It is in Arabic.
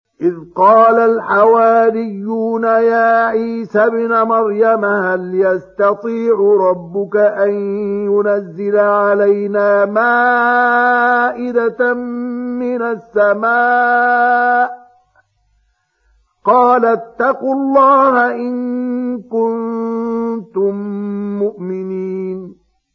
إِذْ قَالَ الْحَوَارِيُّونَ يَا عِيسَى ابْنَ مَرْيَمَ هَلْ يَسْتَطِيعُ رَبُّكَ أَن يُنَزِّلَ عَلَيْنَا مَائِدَةً مِّنَ السَّمَاءِ ۖ قَالَ اتَّقُوا اللَّهَ إِن كُنتُم مُّؤْمِنِينَ